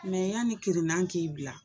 Mɛ yanni kirinnan k'i bila